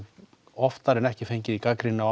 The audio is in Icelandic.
oftar en ekki fengið gagnrýni á